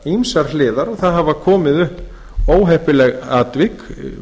ýmsar hliðar og það hafa komið upp óheppileg atvik